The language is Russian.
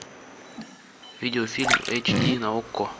видеофильм эйч ди на окко